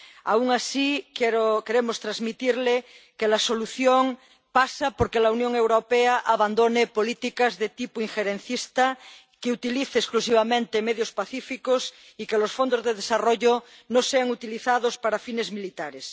Aun así, queremos transmitirle que la solución pasa por que la Unión Europea abandone políticas de tipo injerencista, que utilice exclusivamente medios pacíficos y que los fondos de desarrollo no sean utilizados para fines militares.